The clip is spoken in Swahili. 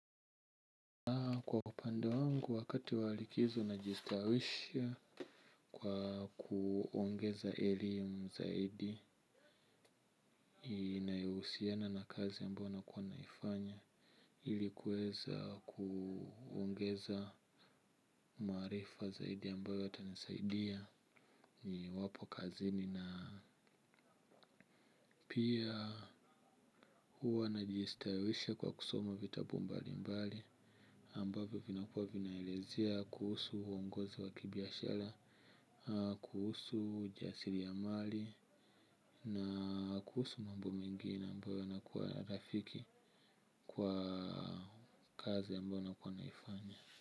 Kwa upanda wangu wakati walikizo najistawisha kwa kuongeza elimu zaidi inayousiana na kazi ambayo nakua naifanya. Ilikuweza kuongeza maarifa zaidi ambayo yatanisaidia niwapo kazini na pia huwa najistawisha kwa kusoma vitabu mbali mbali ambavyo vinakua vinaelezea, kuhusu huongozi wa kibiashara, kuhusu ujasiri ya mali, na kuhusu mambo mengine ambayo yanakua rafiki kwa kazi ambayo nakua naifanya.